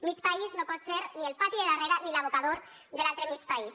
mig país no pot ser ni el pati de darrere ni l’abocador de l’altre mig país